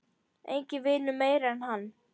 Enginn vinnur meira en hann.